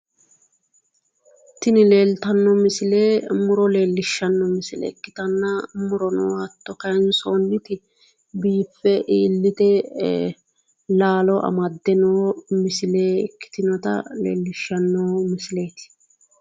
Tini leeltanno misile muro leellishshanno misile ikkitanna murono hatto kaansoonniti biiffe iillite ee laalo amadde noo misile ikkitinota leellishshanno misileeti